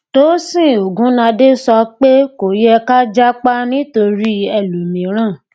tósìn ogúnadé sọ pé kò yẹ ká jápa nítorí ẹlòmíràn